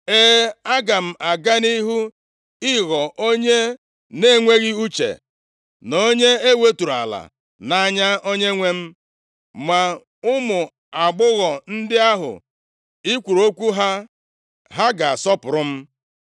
E, aga m aga nʼihu ịghọ onye na-enweghị uche, na onye e weturu ala nʼanya onwe m. Ma ụmụ agbọghọ ndị ahụ i kwuru okwu ha, ha ga-asọpụrụ m!”